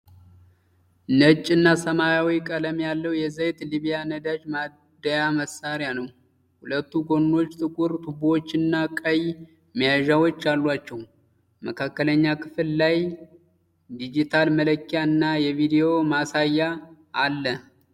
ነጭ እና ሰማያዊ ቀለም ያለው የዘይት ሊብያ ነዳጅ ማደያ መሳሪያ ነው። ሁለቱ ጎኖች ጥቁር ቱቦዎችና ቀይ መያዣዎች አላቸው። መካከለኛ ክፍል ላይ ዲጂታል መለኪያ እና የቪዲዮ ማሳያ አለ።